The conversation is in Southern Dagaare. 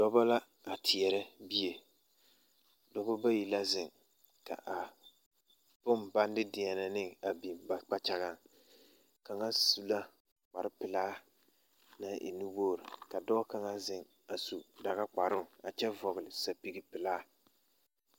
Dɔbɔ la a teɛrɛ bie dɔbɔ bayi la zeŋ ka a bone baŋ de deɛnɛ ne a biŋ ba kpakyaɡaŋ kaŋa su la kparpelaa naŋ e nuwoɡri ka dɔɔ kaŋa zeŋ a su daɡakparoo a kyɛ vɔɡele sapiɡipelaa.